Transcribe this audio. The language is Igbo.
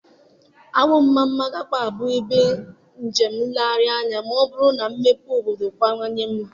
Awo-Omamma agakwaghị abụ ebe njem nlegharị anya ma ọ bụrụ na mmepe obodo kawanye mma.